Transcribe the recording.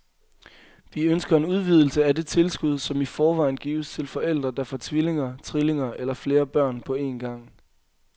Vi ønsker en udvidelse af det tilskud, som i forvejen gives til forældre, der får tvillinger, trillinger eller flere børn på en gang.